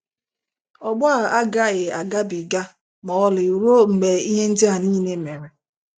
“ Ọgbọ a agaghị agabiga ma ọlị ruo mgbe ihe ndị a niile mere ”